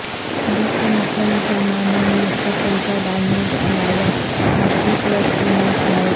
جس کا مقصد مسلمانوں میں تفرقہ ڈالنے کے علاوہ مشرق وسطی میں اسرائیل